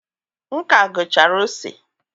m ka gụchara ose